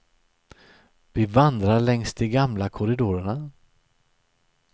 Vi vandrar längs de gamla korridorerna.